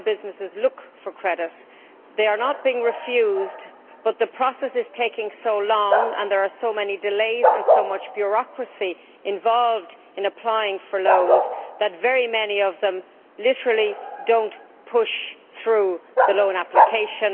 When businesses look for credit they are not being refused, but the process is taking so long, and there are so many delays and so much bureaucracy involved in applying for loans, that very many of them literally do not push through the loan application.